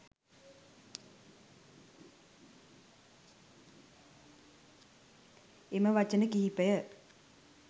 එම වචන කිහිපය